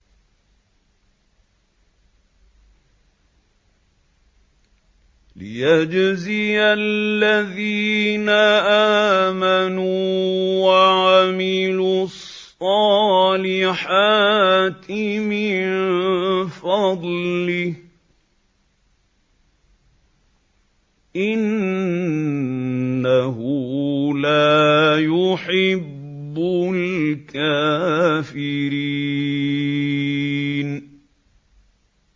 لِيَجْزِيَ الَّذِينَ آمَنُوا وَعَمِلُوا الصَّالِحَاتِ مِن فَضْلِهِ ۚ إِنَّهُ لَا يُحِبُّ الْكَافِرِينَ